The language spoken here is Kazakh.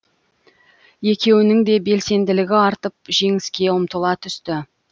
екеуінің де белсенділігі артып жеңіске ұмтыла түсті